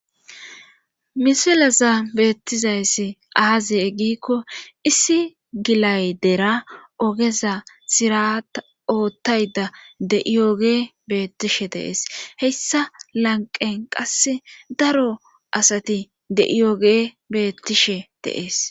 Misilaza beettizayssi aaziye eggikko issi gilay dera ogeza sirata oottayda de7iyoge beettishe deees heyssa lanqen qasse daro asati de7iyoge beettishe deees.